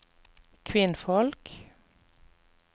kvinnfolk